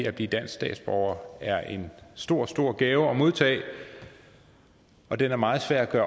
at blive dansk statsborger er en stor stor gave at modtage og den er meget svær at